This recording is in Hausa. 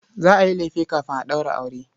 Za a yi lefe kafin a ɗaura aure.